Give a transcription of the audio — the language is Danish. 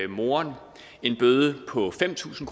moren en bøde på fem tusind